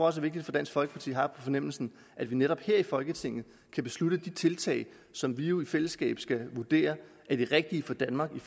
også vigtigt for dansk folkeparti har jeg på fornemmelsen at vi netop her i folketinget kan beslutte om de tiltag som vi jo i fællesskab skal vurdere er de rigtige for danmark i